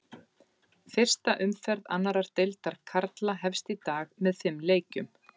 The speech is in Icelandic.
Fyrsta umferð annar deildar karla hefst í dag með fimm leikjum.